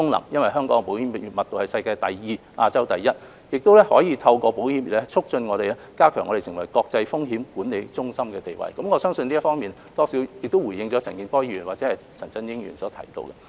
由於香港的保險密度是世界第二，亞洲第一，香港可以透過保險業，促進並加強我們成為國際風險管理中心的地位，我相信這方面或多或少回應了陳健波議員或陳振英議員所提出的關注。